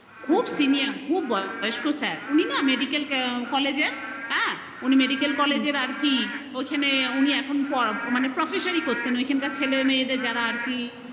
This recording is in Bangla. খুব senior খুব বয়স্ক sir উনি না medical college এর আর কি ওখানে উনি এখন professory করতেন ওখানকার ছেলে মেয়েদের যারা আর কি